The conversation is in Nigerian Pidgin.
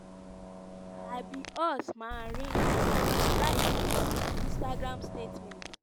"i be us marine" im write for instagram statement.